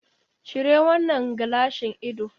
Cire wannan gilashin ido.